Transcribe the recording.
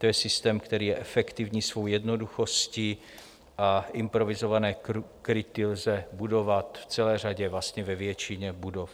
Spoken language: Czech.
To je systém, který je efektivní svou jednoduchostí a improvizované kryty lze budovat v celé řadě, vlastně ve většině budov.